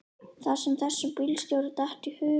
Það sem þessum bílstjóra datt í hug.